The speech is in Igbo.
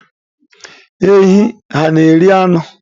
Ehi hà na-eri anụ?